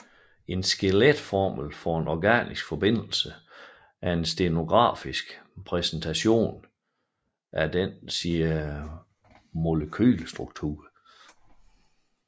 En skeletformel for en organisk forbindelse er en stenografisk repræsentation af dets molekylestruktur